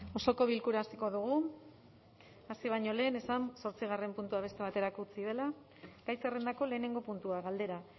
osoko bilkura hasiko dugu hasi baino lehen esan zortzigarren puntua beste baterako utzi dela gai zerrendako lehenengo puntua galdera